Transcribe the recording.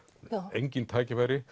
engin tækifæri